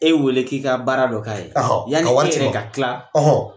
E weele k'i ka baara dɔ k'a ye , ka wagati fɔ, yani e yɛrɛ ka tila